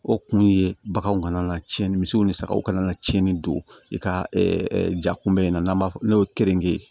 O kun ye baganw kana na cɛnni misiw ni sagaw kana na tiɲɛni don i ka ja kun bɛ n'an b'a fɔ n'o ye keninke